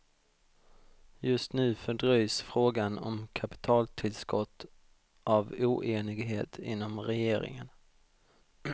Just nu fördröjs frågan om kapitaltillskott av oenighet inom regeringen.